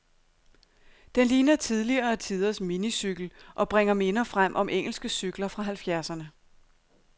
Den ligner tidligere tiders minicykel, og bringer minder frem om engelske cykler fra halvfjerdserne.